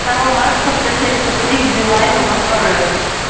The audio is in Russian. карла маркса сто семьдесят три к билайну во дворы